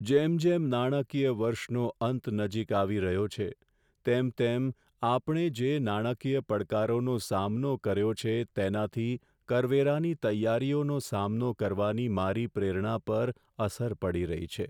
જેમ જેમ નાણાકીય વર્ષનો અંત નજીક આવી રહ્યો છે તેમ તેમ આપણે જે નાણાકીય પડકારોનો સામનો કર્યો છે તેનાથી કરવેરાની તૈયારીનો સામનો કરવાની મારી પ્રેરણા પર અસર પડી રહી છે.